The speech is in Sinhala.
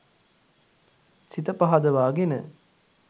සිත පහදවාගෙන